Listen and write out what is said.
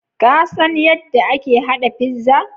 Ka san yadda ake haɗa pizza?